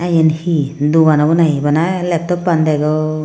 yen hi dogan obo na hi bana leptoppan degong.